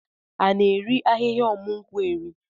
A na-eri ahịhịa ọmụ nkwụ eri?